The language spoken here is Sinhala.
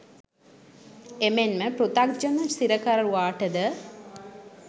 එමෙන්ම පෘතග්ජන සිරකරුවාට ද,